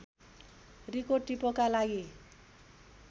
रिको टिपोका लागि